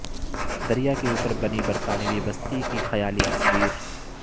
دریا کے اوپر بنی برطانوی بستی کی خیالی تصویر